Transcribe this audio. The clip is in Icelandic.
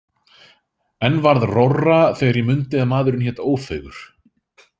En varð rórra þegar ég mundi að maðurinn hét Ófeigur.